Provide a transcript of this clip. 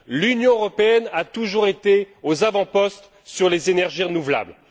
L'Union européenne a toujours été aux avant postes sur les énergies renouvelables.